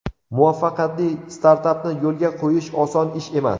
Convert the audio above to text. Muvaffaqiyatli startapni yo‘lga qo‘yish oson ish emas.